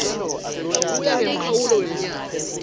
kuya ngemkhawulo wemnyaka